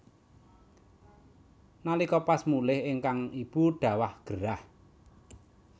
Nalika pas mulih ingkang ibu dhawah gerah